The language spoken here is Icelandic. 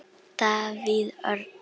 Davíð Örn.